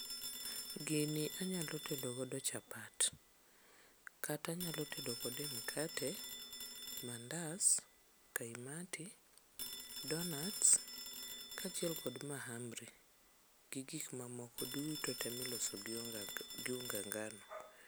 Gini anyalo tedogodo chapat kata anyalo tedo kode mkate, mandas, kaimati, donats kaachiel kod mahamri gi gikmamoko duto ma iloso gi unga ngano.